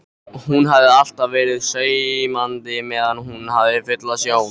Hún hafi alltaf verið saumandi meðan hún hafði fulla sjón.